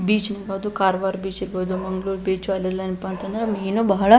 beach ಇರ್ಬೋದು Karwar beach ಇರ್ಬೋದು Mangaluru beach ಅಲ್ಲೆಲ್ಲ ಏನಪ್ಪಾ ಅಂತಂದ್ರೆ ಮೀನು ಬಹಳ--